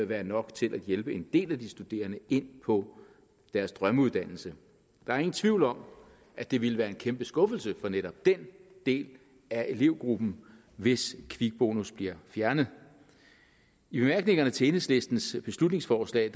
være nok til at hjælpe en del af de studerende ind på deres drømmeuddannelse der er ingen tvivl om at det ville være en kæmpe skuffelse for netop den del af elevgruppen hvis kvikbonus blev fjernet i bemærkningerne til enhedslistens beslutningsforslag